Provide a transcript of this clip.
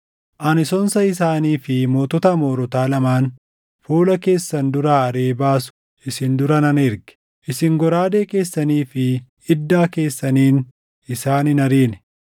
Ani sonsa isaanii fi mootota Amoorotaa lamaan fuula keessan duraa ariʼee baasu isin dura nan erge. Isin goraadee keessanii fi iddaa keessaniin isaan hin ariine.